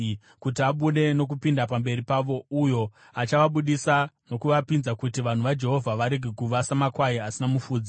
kuti abude nokupinda pamberi pavo, uyo achavabudisa nokuvapinza, kuti vanhu vaJehovha varege kuva samakwai asina mufudzi.”